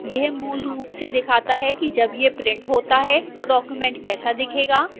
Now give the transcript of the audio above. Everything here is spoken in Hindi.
यह मूल रूप से दिखाता है कि जब यह printed होता है तो document कैसा दिखेगा